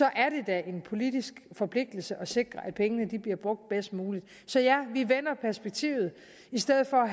er det da en politisk forpligtelse at sikre at pengene bliver brugt bedst muligt så ja vi vender perspektivet i stedet for